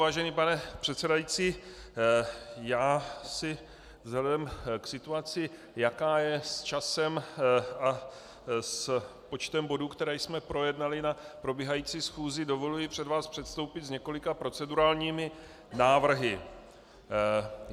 Vážený pane předsedající, já si vzhledem k situaci, jaká je s časem a s počtem bodů, které jsme projednali na probíhající schůzi, dovoluji před vás předstoupit s několika procedurálními návrhy.